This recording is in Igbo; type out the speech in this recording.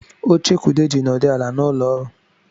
Oche ka Ude jiri nọdụ ala n’ụlọọrụ